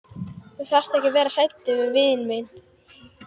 Þú þarft ekki að vera hræddur við vin þinn.